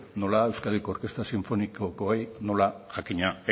nola euskadiko orkestra sinfonikokoei nola jakina